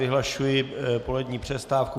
Vyhlašuji polední přestávku.